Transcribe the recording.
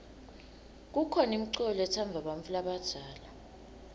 kukhona imiculo letsandvwa bantfu labadzala